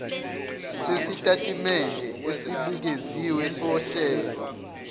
sesitatimende esibukeziwe sohlelo